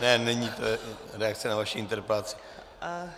Ne, není to reakce na vaši interpelaci.